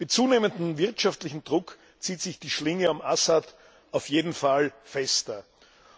Mit zunehmendem wirtschaftlichem Druck zieht sich die Schlinge um Assad auf jeden Fall fester zusammen.